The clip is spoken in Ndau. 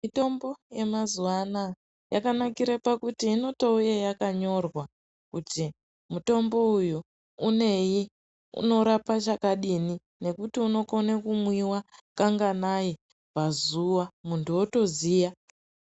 Mitombo yemazuva anaya yakanakire pakuti inotouy yakanyorwa kuti mutombo uyu unei unorapa chakadiini nekuti unokone kumwiwa kanganai pazuva muntu otoziya.